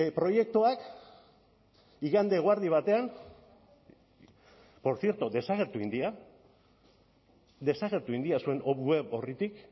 proiektuak igande eguerdi batean portzierto desagertu egin dira desagertu egin dira zuen web orritik